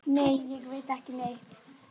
Nei, ég veit ekki neitt.